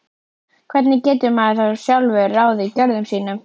Hvernig getur maður þá sjálfur ráðið gjörðum sínum?